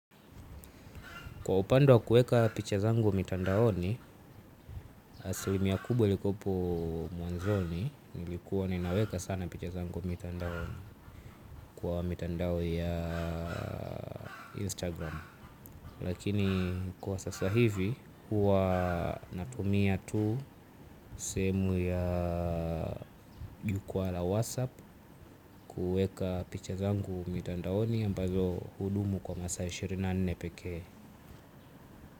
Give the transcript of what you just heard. Kwa upande wa kueka picha zangu mitandaoni, aslimia kubwa ilikuwepo mwanzoni, nilikuwa ninaweka sana picha zangu mitandaoni kwa mitandao ya Instagram. Lakini kwa sasa hivi, huwa natumia tu sehemu ya jukwaa la WhatsApp kueka picha zangu mitandaoni ambazo hudumu kwa masa ishirini na nne pekee.